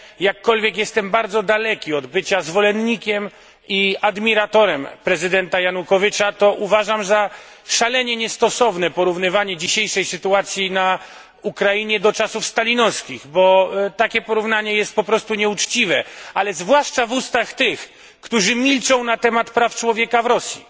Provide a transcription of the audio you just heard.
jakkolwiek jestem bardzo daleki od bycia zwolennikiem i admiratorem prezydenta Janukowycza, to uważam za szalenie niestosowne porównywanie dzisiejszej sytuacji na Ukrainie do czasów stalinowskich, bo takie porównanie jest po prostu nieuczciwe, a zwłaszcza w ustach tych, którzy milczą na temat praw człowieka w Rosji.